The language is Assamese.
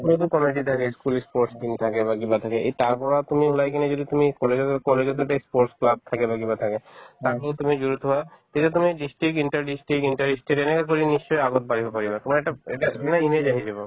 school তো কি থাকে ই school ই sports তিনিটাকে বা কিবা থাকে এই তাৰপৰা তুমি ওলাই কিনে যদি তুমি college ত গৈ college ত যদি ই sports club থাকে বা কিবা থাকে মানে তুমি তেতিয়া তুমি district, inter district, inter ই state এনেকে কৰি নিশ্চয় আগত বাঢ়িব পাৰিবা তোমাৰ এটা~ এটা ধুনীয়া image আহি যাব